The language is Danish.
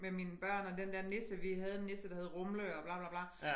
Med mine børn og den der nisse vi havde en nisse der hed Rumle og bla bla bla